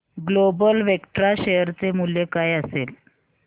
global Vectra share चे मूल्य काय असेल